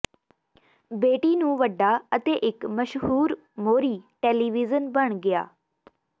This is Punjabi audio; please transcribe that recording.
ਬੇਟੀ ਨੂੰ ਵੱਡਾ ਅਤੇ ਇੱਕ ਮਸ਼ਹੂਰ ਮੋਹਰੀ ਟੈਲੀਵਿਜ਼ਨ ਬਣ ਗਿਆ